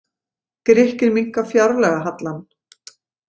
Grikkir minnka fjárlagahallann